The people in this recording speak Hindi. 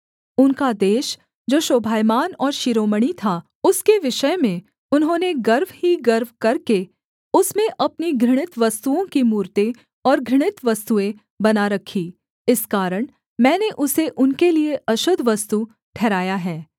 उनका देश जो शोभायमान और शिरोमणि था उसके विषय में उन्होंने गर्व ही गर्व करके उसमें अपनी घृणित वस्तुओं की मूरतें और घृणित वस्तुएँ बना रखीं इस कारण मैंने उसे उनके लिये अशुद्ध वस्तु ठहराया है